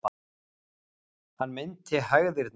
Hann meinti hægðirnar.